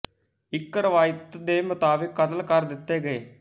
ਇੱਕ ਰਿਵਾਇਤ ਦੇ ਮੁਤਾਬਕ ਕਤਲ ਕਰ ਦਿੱਤੇ ਗਏ